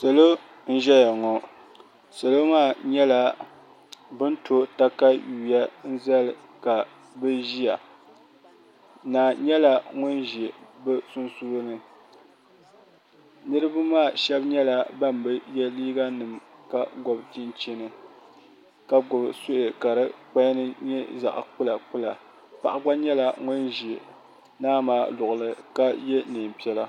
Salo n ʒɛya ŋo salo maa nyɛla bi ni to katawiya zali ka bi ʒiya naa nyɛla ŋun ʒi bi sunsuuni niraba maa shab nyɛla ban bi yɛ liiga nima ka gob chinchini ka gbubi suhi ka di kpali ni nyɛ zaɣ kpula kpula paɣa gba nyɛla ŋun ʒi naa maa luɣuli ka yɛ neen piɛla